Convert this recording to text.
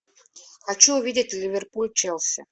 хочу увидеть ливерпуль челси